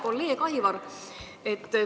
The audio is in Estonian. Hea kolleeg Aivar!